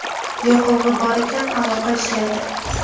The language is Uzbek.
Yoqilg‘i bor ekan, aloqa ishlaydi.